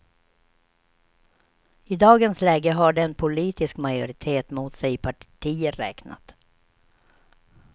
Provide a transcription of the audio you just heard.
I dagens läge har de en politisk majoritet mot sig i partier räknat.